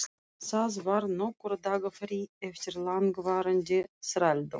Það var nokkurra daga frí eftir langvarandi þrældóm.